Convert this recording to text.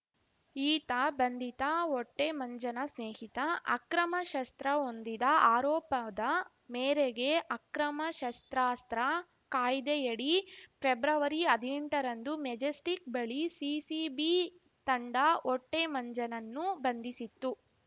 ಈತ ಬಂಧಿತ ಹೊಟ್ಟೆಮಂಜನ ಸ್ನೇಹಿತ ಅಕ್ರಮ ಶಸ್ತ್ರ ಹೊಂದಿದ ಆರೋಪದ ಮೇರೆಗೆ ಅಕ್ರಮ ಶಸ್ತ್ರಾಸ್ತ್ರ ಕಾಯ್ದೆಯಡಿ ಪ್ರೆಬ್ರವರಿಹದಿನೆಂಟ ರಂದು ಮೆಜೆಸ್ಟಿಕ್‌ ಬಳಿ ಸಿಸಿಬಿ ತಂಡ ಹೊಟ್ಟೆಮಂಜನನ್ನು ಬಂಧಿಸಿತ್ತು